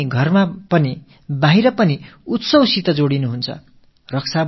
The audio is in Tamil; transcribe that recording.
நீங்களும் உங்கள் இல்லங்களிலும் வெளியிடங்களிலும் கொண்டாட்டங்களில் ஈடுபடுவீர்கள்